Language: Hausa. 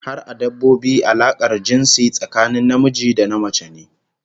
Har a dabbobi alakar jinsi tsakanin namiji da namace ne